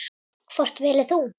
Hvort velur þú?